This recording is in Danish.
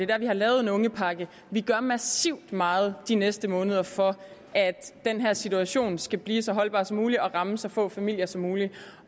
der vi har lavet en ungepakke vi gør massivt meget de næste måneder for at den her situation skal blive så holdbar som muligt og ramme så få familier som muligt